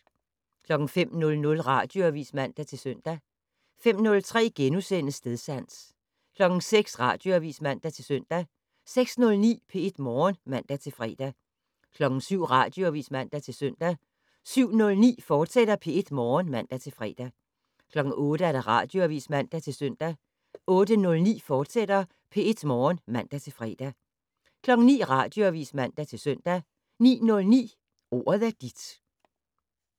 05:00: Radioavis (man-søn) 05:03: Stedsans * 06:00: Radioavis (man-søn) 06:09: P1 Morgen (man-fre) 07:00: Radioavis (man-søn) 07:09: P1 Morgen, fortsat (man-fre) 08:00: Radioavis (man-søn) 08:09: P1 Morgen, fortsat (man-fre) 09:00: Radioavis (man-søn) 09:09: Ordet er dit (man-fre)